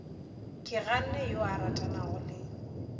keganne yo a ratanago le